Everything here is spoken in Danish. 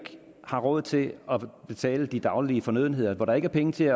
har råd til at betale de daglige fornødenheder hvor der ikke er penge til